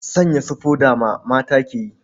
Sanya su foda ma mata ke yi.